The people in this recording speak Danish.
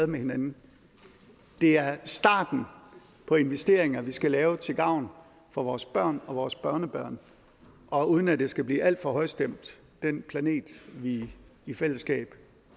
med hinanden det er starten på investeringer vi skal lave til gavn for vores børn og vores børnebørn og uden at det skal blive alt for højstemt den planet vi i fællesskab